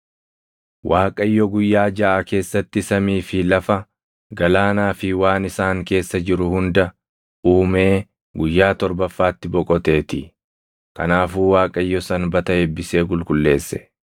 Waaqayyo guyyaa jaʼa keessatti samii fi lafa, galaanaa fi waan isaan keessa jiru hunda uumee guyyaa torbaffaatti boqoteetii. Kanaafuu Waaqayyo Sanbata eebbisee qulqulleesse.